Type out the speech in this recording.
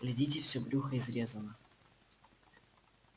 глядите всё брюхо изрезано